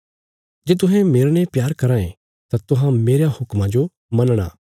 जे तुहें मेरने प्यार कराँ ये तां तुहां मेरयां हुक्मां जो मनणा